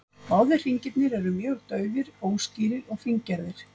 Báðir hringirnir eru mjög daufir, óskýrir og fíngerðir.